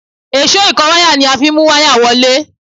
Èṣó ìkanwáyà ni a fi ń mú wáyà mọ́lẹ̀